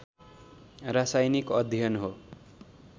रासायनिक अध्ययन हो